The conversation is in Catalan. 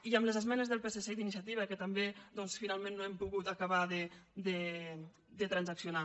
i amb les esmenes del psc i d’iniciativa que també doncs finalment no hem pogut acabar de transaccio·nar